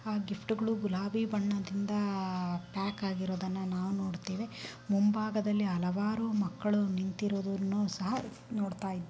ಆ ಗಿಫ್ಟ್ ಗಳು ಗುಲಾಬಿ ಬಣ್ಣದಿಂದ ಪ್ಯಾಕ್ ಆಗಿರುವುದನ್ನು ನಾವು ನೋಡತ್ತೇವೆ ಮುಂಭಾಗದಲ್ಲಿ ಹಲವಾರು ಮಕ್ಕಳು ನಿಂತಿರುವುದನ್ನು ಸಹ ನೋಡತ್ತಾ_